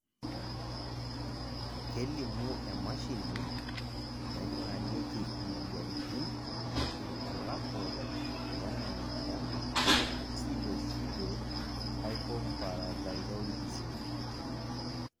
kelimu emashini naingurarieki imoyiaritin irbulabol lena moyian e Pseudopseudohypoparathyroidism.